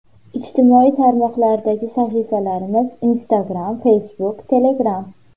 Ijtimoiy tarmoqlardagi sahifalarimiz: Instagram Facebook Telegram !